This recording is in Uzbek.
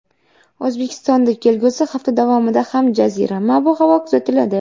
O‘zbekistonda kelgusi hafta davomida ham jazirama ob-havo kuzatiladi.